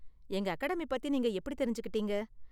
எங்க அகாடமி பத்தி நீங்க எப்படி தெரிஞ்சுக்கிட்டீங்க?